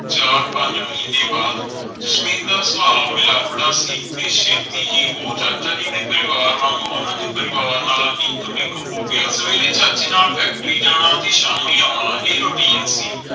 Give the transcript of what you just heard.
ਚਾਰ ਪੰਜ ਮਹੀਨੇ ਬਾਅਦ। ਜਸਮੀਤ ਦਾ ਸੁਬਾਹ ਮਿਲਾਪੜਾ ਸੀ ਤੇ ਛੇਤੀ ਹੀ ਉਹ ਚਾਚਾ ਜੀ ਦੇ ਪਰਿਵਾਰ ਵਾਂਗ ਓਹਨਾ ਦੇ ਪਰਿਵਾਰ ਨਾਲ ਇਕ ਮਿਕ ਹੋ ਗਿਆ ਸਵੇਰੇ ਚਾਚੇ ਨਾਲ ਫੈਕਟਰੀ ਜਾਣਾ ਤੇ ਸ਼ਾਮੀ ਆਉਣਾ ਇਹ ਰੌਟੀਨ ਸੀ